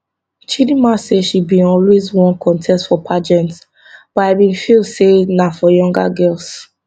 chidinma say she bin always wan contest for pageant but i bin feel say na for younger girls